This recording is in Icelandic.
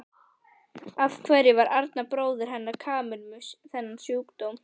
Af hverju var Arnar bróðir hennar Kamillu með þennan sjúkdóm?